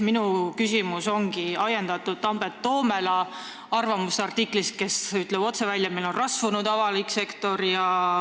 Minu küsimus on ajendatud Tambet Toomela arvamusartiklist, kus ta ütleb otse välja, et meil on rasvunud avalik sektor.